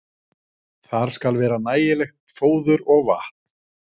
Þar skal vera nægilegt fóður og vatn.